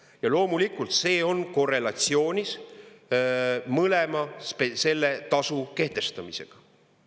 Ja loomulikult see on korrelatsioonis mõlema selle tasu kehtestamisega.